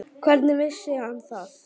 Hvernig vissi hann það?